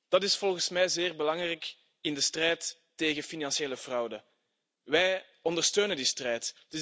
Dat is volgens mij zeer belangrijk in de strijd tegen financiële fraude. Wij ondersteunen die strijd.